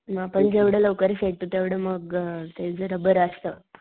मग आपण जेवढे लवकर सेट होऊ तेवढं मग ते जरा बर असत.